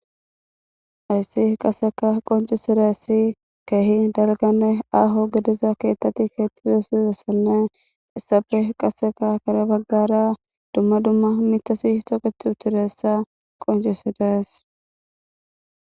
Ayssi qaseka qoncisirassi kahi dalgane aaho gediza keettati keettize suzessanne issafe qaseka kare baggara dumma dumma mitasi toket utiressa qoncisidayes